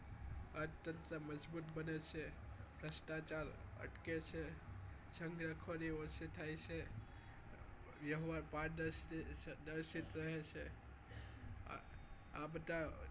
અર્થતંત્ર મજબૂત બને છે ભ્રષ્ટાચાર અટકે છે છેત્તરપિંડી ઓછી થાય છે વ્યવહાર પારદર્શિત રહે છે આ બધા